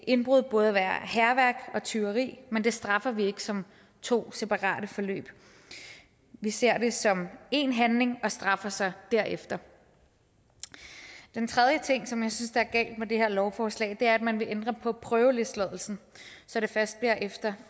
indbrud både være hærværk og tyveri men det straffer vi ikke som to separate forløb men ser det som én handling og straffer så derefter den tredje ting som jeg synes er galt med det her forslag er at man vil ændre på prøveløsladelsen så det først bliver efter